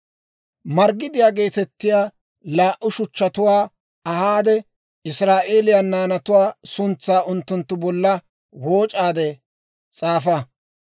«Marggidiyaa geetettiyaa laa"u shuchchatuwaa ahaade, Israa'eeliyaa naanatuwaa suntsaa unttunttu bolla wooc'aade s'aafa.